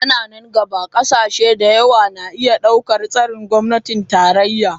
A nan gaba, ƙasashe da yawa na iya ɗaukar tsarin gwamnatin tarayya.